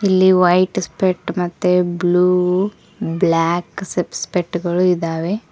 ಇಲ್ಲಿ white spot ಮತ್ತೆ blue black spot ಗಳು ಇದ್ದಾವೆ.